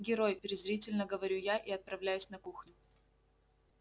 герой презрительно говорю я и отправляюсь на кухню